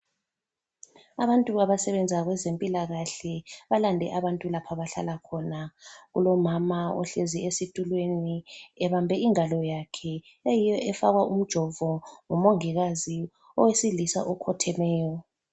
Abantu abasebenza kwezempilakahle balande abantu lapho abahlala khona. Kulomama ohlezi esitulweni ebambe ingalo yakhe eyiyo efakwa umjovo ngumongikazi owesilisa okhothemeyo.